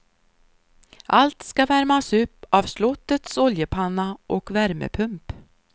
Allt ska värmas upp av slottets oljepanna och värmepump.